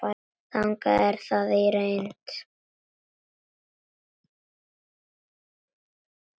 Þannig er það í reynd.